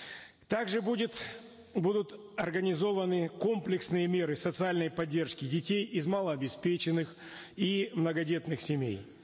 также будет будут организованы комплексные меры социальной поддержки детей из малообеспеченных и многодетных семей